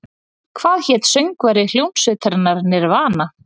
Hvað hét söngvari hljómsveitarinnar Nirvana?